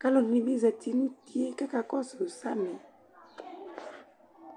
kalɔ dɩnɩ bɩ zati nʋ utie kaka kɔsʋ samɩ